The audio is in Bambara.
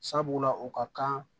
Sabula o ka kan